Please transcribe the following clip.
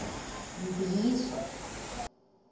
mbizo